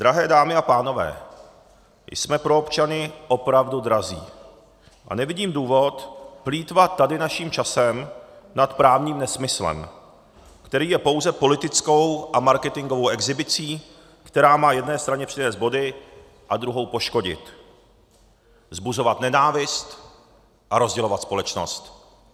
Drahé dámy a pánové, jsme pro občany opravdu drazí a nevidím důvod plýtvat tady naším časem nad právním nesmyslem, který je pouze politickou a marketingovou exhibicí, která má jedné straně přinést body a druhou poškodit, vzbuzovat nenávist a rozdělovat společnost.